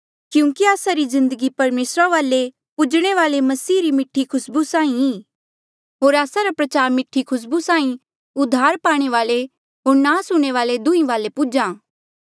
क्यूंकि आस्सा री जिन्दगी परमेसरा रे वाले पूजणे वाली मसीह री मीठी खुसबू साहीं ई होर आस्सा रा प्रचार मीठी खुसबू साहीं उद्धार पाणे वाले होर नास हूणें वाले दुंहीं वाले पुज्हा